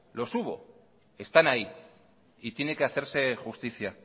los hubo están ahí y tiene que hacerse justicia